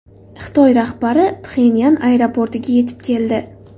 Xitoy rahbari Pxenyan aeroportiga yetib keldi.